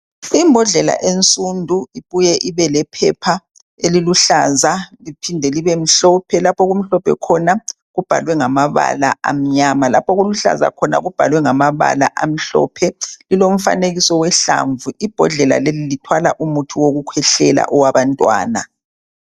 Ibhondlela ensundu ibuye ibelephepha eliluhlaza liphinde libemhlophe lapha okumhlophe khona kubhalwe ngamabala amnyama lapha oluluhlaza khona kubhalwe ngamabala amhlophe lilomfanekiso wehlamvu ibhondlela leyi lithwala umithi yokukhwehlela owabantwana.